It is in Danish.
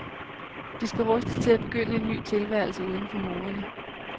De skal rustes til at begynde en ny tilværelse uden for murene.